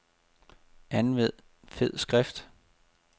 Anvend fed skrift.